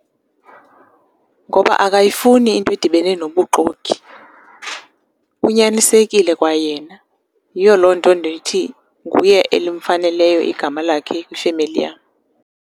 Ngoba akayifuni into edibene nobuxoki, unyanisekile kwayena. Yiyo loo nto ndithi nguye elimfaneleyo igama lakhe kwifemeli yam.